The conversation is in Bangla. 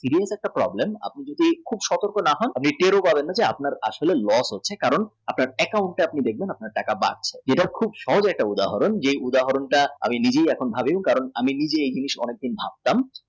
video একটা problem আপনি যদি খুব সতর্ক না থাকেন আপনার আসলে আপনার আসলে lack হচ্ছে কারণ আপনার account এ ধরুন আপনার টাকা বাদ। এটা সহজ একটা উদাহরন যেই উদাহরণটা আমি নিজে